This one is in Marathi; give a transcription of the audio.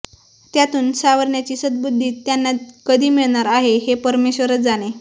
त्यातून सावरण्याची सद्बुध्दी त्यांना कधी मिळणार आहे हे परमेश्वरच जाणे